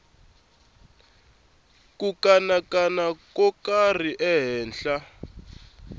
ku kanakana ko karhi ehenhla